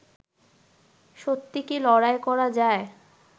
সত্যি কি লড়াই করা যায়